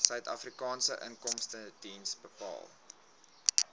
suidafrikaanse inkomstediens betaal